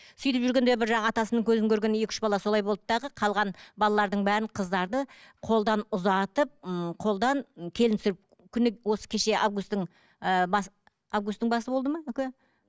сөйтіп жүргенде бір атасының көзін көрген екі үш бала солай болды дағы қалған балалардың бәрін қыздарды қолдан ұзатып ммм қолдан келін түсіріп күні осы кеше августтың ыыы басы августтың басы болды ма нүке